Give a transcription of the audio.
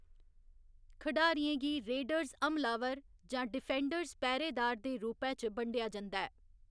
खडारियें गी रेडर्स हमलावर जां डिफेंडर्स पैह्‌‌रेदार दे रूपै च बंडेआ जंदा ऐ।